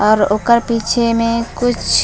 और ओकर पीछे में कुछ--